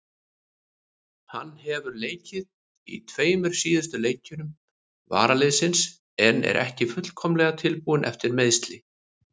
Hann hefur leikið í tveimur síðustu leikjum varaliðsins en er ekki fullkomlega tilbúinn eftir meiðsli.